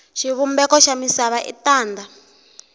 xivumbeko xa misava i tanda